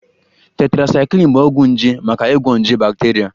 Tetracycline bụ ọgwụ nje maka ịgwọ nje bakteria